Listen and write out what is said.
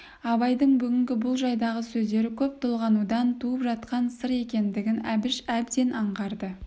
абайдың бүгінгі бұл жайдағы сөздері көп толғанудан туып жатқан сыр екендігін әбіш әбден аңғарды